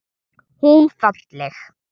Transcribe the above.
Hún falleg.